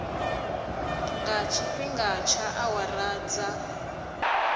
nga tshifhinga tsha awara dza